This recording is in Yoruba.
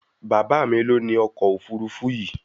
Bàbá mí lo ní ọkọ òfurufú yìí